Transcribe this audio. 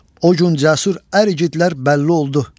O gün cəsur əryigitlər bəlli oldu.